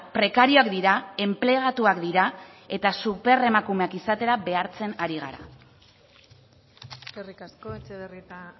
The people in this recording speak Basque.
prekarioak dira enplegatuak dira eta superemakumeak izatera behartzen ari gara eskerrik asko etxebarrieta